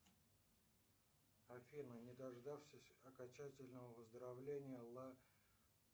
афина не дождавшись окончательного выздоровления ла